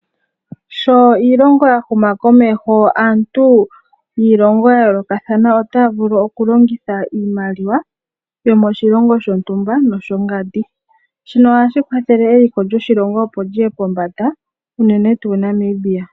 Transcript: Sho iilongo ya huma komeho, aantu yiilongo ya yoolokathana otaya vulu okulongitha iimaliwa yomoshilongo shontumba noshongandi. Shino ohashi kwathele eliko lyoshilongo, opo li ye pombanda unene tuu Namibia.